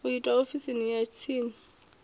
u itwa ofisini ya tsini